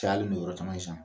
yɔrɔ caman